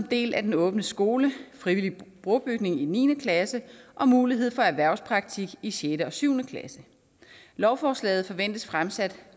del af den åbne skole frivillig brobygning i niende klasse og mulighed for erhvervspraktik i sjette og syvende klasse lovforslaget forventes fremsat